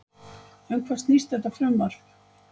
Um hvað snýst þetta frumvarp?